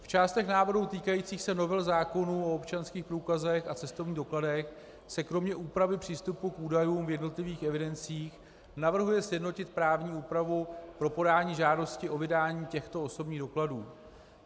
V částech návrhů týkajících se novel zákonů o občanských průkazech a cestovních dokladech se kromě úpravy přístupu k údajům v jednotlivých evidencích navrhuje sjednotit právní úpravu pro podání žádosti o vydání těchto osobních dokladů.